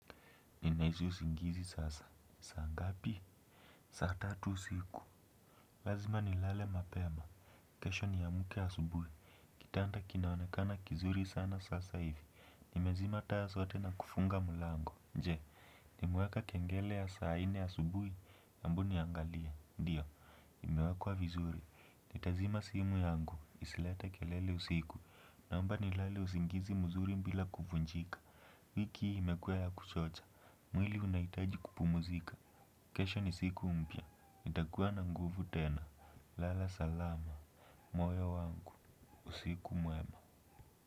Ninahisi usingizi sasa, saa ngapi? Saa tatu usiku. Lazima ni lale mapema. Kesho ni amke asubuhi. Kitanda kinaonekana kizuri sana sasa hivi ni nimezima taa zote na kufunga mulango nje. Nimeweka kengele ya saa ine ya asubuhi embu niangalie ndiyo. Imewekwa vizuri. Nitazima simu yangu isilete kelele usiku naomba ni lale usingizi mzuri bila kuvunjika. Wiki hii imekua ya kuchocha. Mwili unaitaji kupu muzika. Kesho ni siku mpya nitakuwa na nguvu tena. Lala salama moyo wangu usiku mwema.